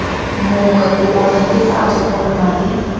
mongwe kopo netefatsa gore madi